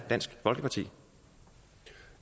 dansk folkeparti